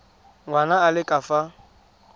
ngwana a le ka fa